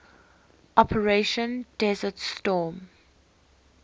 operation desert storm